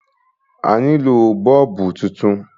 A nílò bọ́ọ́lùbù titun.